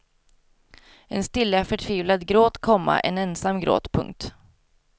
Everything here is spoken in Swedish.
En stilla förtvivlad gråt, komma en ensam gråt. punkt